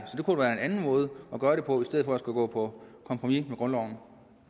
anden måde at gøre det på i stedet for at skulle gå på kompromis med grundloven